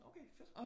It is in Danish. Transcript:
Okay fedt